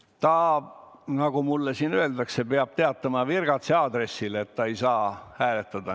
See inimene, nagu mulle siin öeldakse, peab teatama virgatsi aadressil, et ta ei saa hääletada.